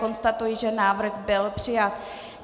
Konstatuji, že návrh byl přijat.